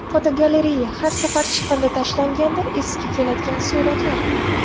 Fotogalereya: Har safar chiqindi tashlanganda esga keladigan suratlar.